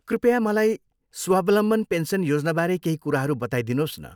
कृपया मलाई स्वावलम्बन पेन्सन योजनाबारे केही कुराहरू बताइदिनुहोस् न।